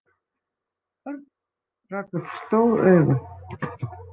Örn rak upp stór augu.